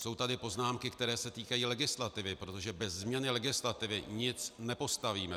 Jsou tady poznámky, které se týkají legislativy, protože bez změny legislativy nic nepostavíme.